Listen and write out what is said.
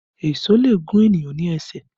Èṣó lè gún ènìyàn ní ẹsẹ̀